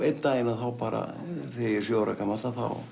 einn daginn þegar ég er sjö ára gamall